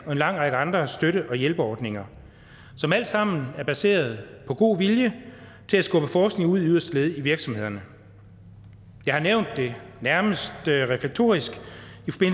og en lang række andre støtte og hjælpeordninger som alt sammen er baseret på god vilje til at skubbe forskning ud i yderste led i virksomhederne jeg har nævnt det nærmest reflektorisk